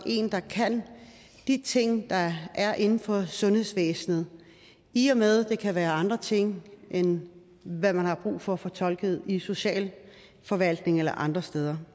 en der kan de ting der er inden for sundhedsvæsenet i og med at det kan være andre ting end hvad man har brug for at få tolket i socialforvaltningen eller andre steder